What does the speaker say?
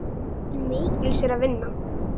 Til mikils er að vinna.